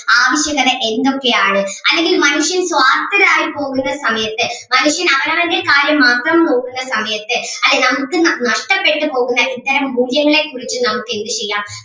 ആവശ്യകത എന്തൊക്കെയാണ് അല്ലെങ്കിൽ മനുഷ്യൻ സ്വാർത്ഥരായി പോകുന്ന സമയത്ത് മനുഷ്യൻ അവരവരുടെ കാര്യം മാത്രം നോക്കുന്ന സമയത്ത് അല്ലെ നമുക്ക് ന~ നഷ്ടപ്പെട്ട് പോകുന്ന ഇത്തരം മൂല്യങ്ങളെ കുറിച്ച് നമുക്ക് എന്ത് ചെയ്യാം